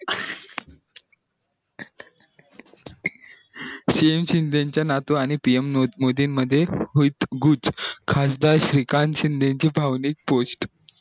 cm Shinde चा नातू आणि pm मोदी मध्ये होई खाजदार श्रीकांत शिंदे ची भावनिक post